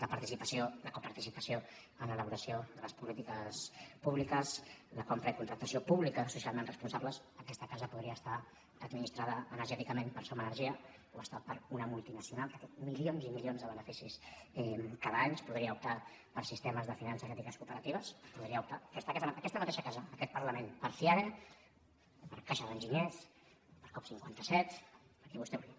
la participació la coparticipació en l’elaboració de les polítiques públiques la compra i contractació pública socialment responsables aquesta casa podria estar administrada energèticament per som energia i ho està per una multinacional que té milions i milions de beneficis cada any es podria optar per sistemes de finances ètiques cooperatives s’hi podria optar aquesta mateixa casa aquest parlament per fiare per caixa d’enginyers per coop cinquanta set per qui vostè vulgui